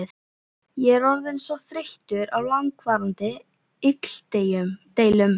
Ég er orðinn þreyttur á langvarandi illdeilum.